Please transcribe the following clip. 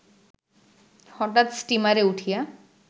হঠাৎ স্টিমারে উঠিয়া